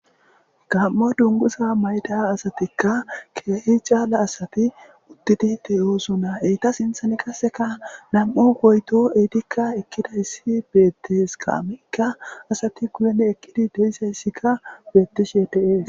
gamo dungusa mayda asatikka keehi caala asati udtidite yoosona eyta sinthan qaseka nam7o goyto eitikka ekkidayssi beettes kaamikka asati guyene ekkidi deisayssikka beettishe deees